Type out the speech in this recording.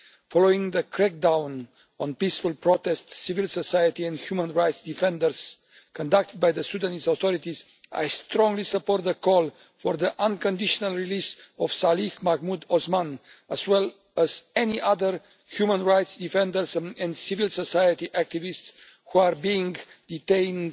Following the crackdown on peaceful protests, civil society and human rights defenders conducted by the Sudanese authorities, I strongly support the call for the unconditional release of Salih Mahmoud Osman, as well as any other human rights defenders and civil society activists who are being detained